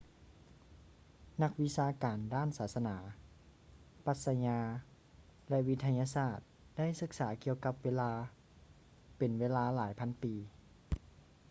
ນັກວິຊາການດ້ານສາສະໜາ ປັດຊະຍາ ແລະ ວິທະຍາສາດ ໄດ້ສຶກສາກ່ຽວກັບເວລາ ເປັນເວລາຫຼາຍພັນປີ